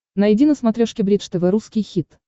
найди на смотрешке бридж тв русский хит